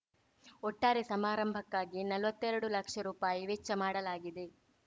ಒಟ್ಟಾರೆ ಸಮಾರಂಭಕ್ಕಾಗಿ ನಲ್ವತ್ತೆರಡು ಲಕ್ಷ ರೂಪಾಯಿ ವೆಚ್ಚ ಮಾಡಲಾಗಿದೆ